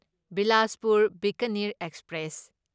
Bilaspur Bikaner express